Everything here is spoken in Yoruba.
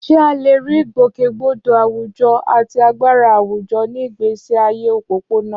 Ṣé a lè rí ìgbòkègbodò àwùjọ àti agbára àwùjọ ní ìgbésí ayé òpópónà?